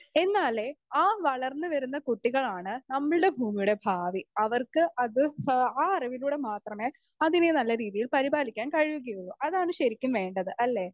Speaker 2 എന്നാലേ ആ വളർന്ന് വരുന്ന കുട്ടികളാണ് നമ്മൾടെ ഭൂമിയുടെ ഭാവി അവർക്ക് അത് ഷോ ആ അറിവിലൂടെ മാത്രമേ അതിനെ നല്ല രീതിയിൽ പരിപാലിക്കാൻ കഴിയുകയൊള്ളു അതാണ് ശരിക്കും വേണ്ടത് അല്ലെ?